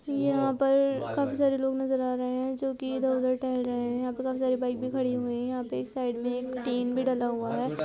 यहां पर काफी सारे लोग नजर आ रहे हैं जो कि इधर-उधर टहल रहे हैं यहां पे काफी सारी बाइक भी खड़ीं हुईं हैं यहां पे एक साइड में एक टीन भी डला हुआ है।